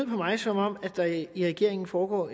mig som om der i regeringen foregår